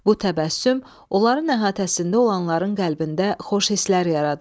Bu təbəssüm onların əhatəsində olanların qəlbində xoş hisslər yaradır.